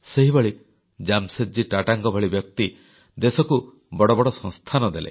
ସେହିଭଳି ଜାମଶେଦ୍ ଜୀ ଟାଟାଙ୍କ ଭଳି ବ୍ୟକ୍ତି ଦେଶକୁ ବଡ଼ ବଡ଼ ସଂସ୍ଥାନ ଦେଲେ